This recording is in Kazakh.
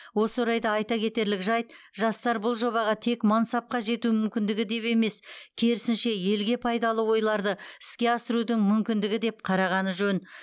осы орайда айта кетерлік жайт жастар бұл жобаға тек мансапқа жету мүмкіндігі деп емес керісінше елге пайдалы ойларды іске асырудың мүмкіндігі деп қарағаны жөн